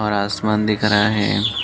और आसमान दिख रहा हैं।